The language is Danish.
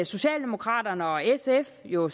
socialdemokraterne og sf jo